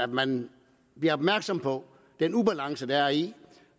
man bliver opmærksom på den ubalance der er i